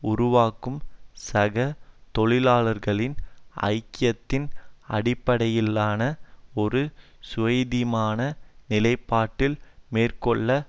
உருவாக்கும் சக தொழிலாளர்களின் ஐக்கியத்தின் அடிப்படையிலான ஒரு சுயாதீனமான நிலைப்பாட்டில் மேற்கொள்ளவேண்டும்